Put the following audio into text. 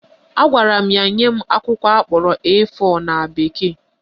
Agwara m ya nye m akwụkwọ akpọrọ A4 na bekee